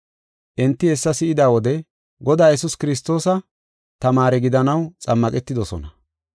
Enti hessa si7ida wode Godaa Yesuus Kiristoosa tamaare gidanaw xammaqetidosona.